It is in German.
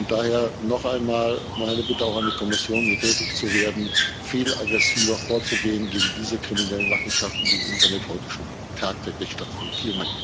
Daher noch einmal meine Bitte auch an die Kommission, hier tätig zu werden, viel aggressiver vorzugehen gegen diese kriminellen Machenschaften, die im Internet heute schon tagtäglich stattfinden.